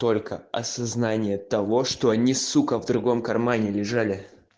только осознание того что они сука в другом кармане лежали